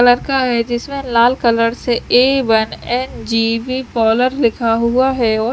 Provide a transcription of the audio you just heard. लड़का है जिसमें लाल कलर से ए वन एन_जी_बी पार्लर लिखा हुआ है और--